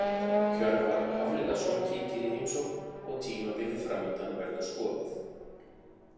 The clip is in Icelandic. Hjörvar Hafliðason kíkir í heimsókn og tímabilið framundan verður skoðað.